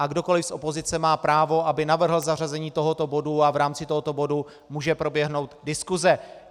A kdokoli z opozice má právo, aby navrhl zařazení tohoto bodu, a v rámci tohoto bodu může proběhnout diskuse.